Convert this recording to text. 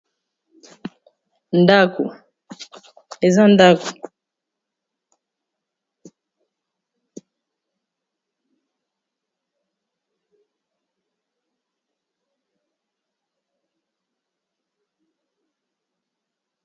Ndaku eza ndaku, ndaku eza ndaku.